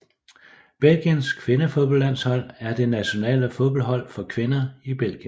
Belgiens kvindefodboldlandshold er det nationale fodboldhold for kvinder i Belgien